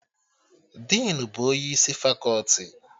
Dinu bụ onye isi fakọti